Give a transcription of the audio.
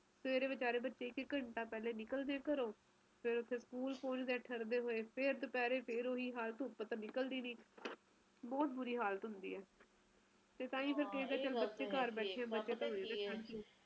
ਪਰ ਹਾਂ ਇਹ ਤਾ ਹੈ ਕੇ ਜਾਨਵਰਾਂ ਵਾਸਤੇ ਬਹੁਤ ਬੁਰਾ ਹਾਲ ਹੈ ਬਹੁਤ ਜੀ ਬਹੁਤ ਬਹੁਤ ਮੇਰੀ ਸਹੇਲੀ ਵੀ ਇੱਕ ਹੁਣੇ ਵਿਨੀ ਪੈੱਗ